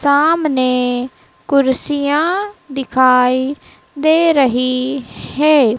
सामने कुर्सियां दिखाई दे रही है।